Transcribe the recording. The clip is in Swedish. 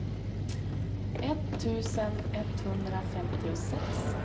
etttusen etthundrafemtiosex